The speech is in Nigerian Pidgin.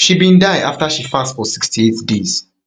she bin die afta she fast for sixty-eight days